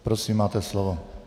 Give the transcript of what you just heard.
Prosím, máte slovo.